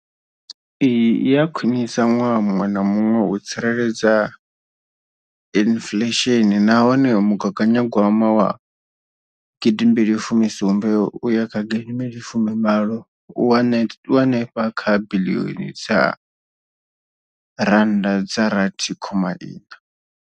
Iyi i a khwiniswa ṅwaha muṅwe na muṅwe u tsireledza inflesheni nahone mugaganyagwama wa gidimbili fumi sumbe uya kha gidimbili fumi sumbe u henefha kha biḽioni dza rannda dza rathi khoma iṋa.